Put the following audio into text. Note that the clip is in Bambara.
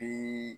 Bi